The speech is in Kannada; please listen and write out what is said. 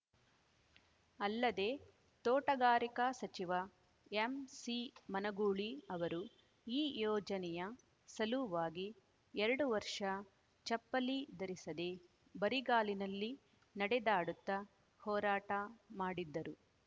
ಅಲ್ಲದೇ ತೋಟಗಾರಿಕಾ ಸಚಿವ ಎಂಸಿಮನಗೂಳಿ ಅವರು ಈ ಯೋಜನೆಯ ಸಲುವಾಗಿ ಎರಡು ವರ್ಷ ಚಪ್ಪಲಿ ಧರಿಸದೇ ಬರಿಗಾಲಿನಲ್ಲಿ ನಡೆದಾಡುತ್ತಾ ಹೋರಾಟ ಮಾಡಿದ್ದರು